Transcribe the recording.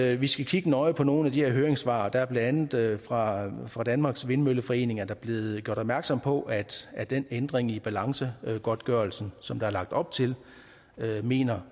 at vi skal kigge nøje på nogle af de her høringssvar der er blandt andet fra fra danmarks vindmølleforenings side blevet gjort opmærksom på at at den ændring i balancegodtgørelsen som der er lagt op til mener